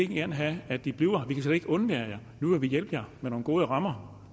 gerne have at i bliver her vi kan slet ikke undvære jer nu vil vi hjælpe jer med nogle gode rammer